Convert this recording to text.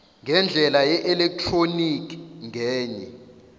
ngendlela yeelektroniki ngenye